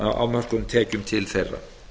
á mörkuðum tekjum til þeirra